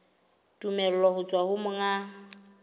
tumello ho tswa ho monga